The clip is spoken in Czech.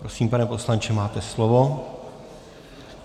Prosím, pane poslanče, máte slovo.